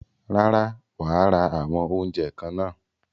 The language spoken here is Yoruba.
Rárá, wàá ra àwọn oúnjẹ kan náà.